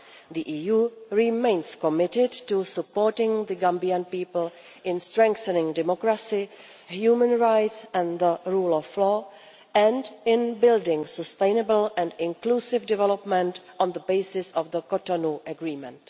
The EU remains committed to supporting the Gambian people in strengthening democracy, human rights and the rule of law and in building sustainable and inclusive development on the basis of the Cotonou Agreement.